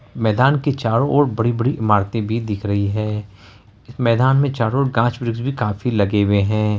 मैदान के चारो ओर बड़ी-बड़ी इमारते भी दिख रही हैं मैदान में चारो ओर गाछ वृक्ष भी काफी लगे हुए हैं।